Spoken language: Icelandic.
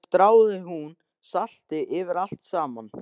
Síðan stráði hún salti yfir allt saman.